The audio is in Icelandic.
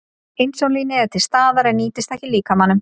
Insúlínið er til staðar en nýtist ekki líkamanum.